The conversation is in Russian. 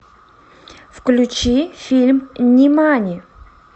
включи фильм нимани